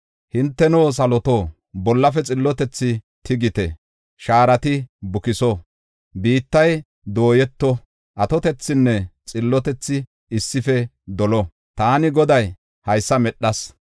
Hinteno saloto, bollafe xillotethi tigite; shaarati bukiso. Biittay dooyeto, atotethi xillotethay issife dolo; taani Goday haysa medhas.